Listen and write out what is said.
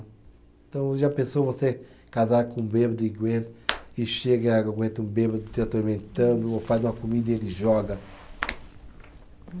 Então, já pensou, você casar com um bêbado e guenta, e chega, aguenta um bêbado te atormentando, ou faz uma comida e ele joga.